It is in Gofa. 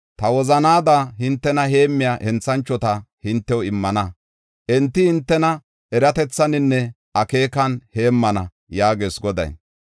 Ta wozanaada hintena heemmiya henthanchota hintew immana. Enti hintena eratethaninne akeekan heemmana” yaagees Goday.